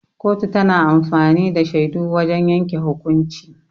Kotu tana amfani da shaidu wajan yanke hukunci.